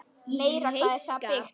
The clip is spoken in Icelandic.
Meira hvað það er byggt!